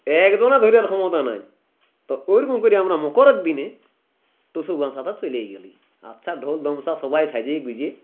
একজনার ধইরার ক্ষমতা নাই তো ওইরকম করে আমরা মকর দিনে টুসু বাচাদা চলি গেলি আচ্ছা ঢোল ধামসা সবাই সাইজ্যে গুইজে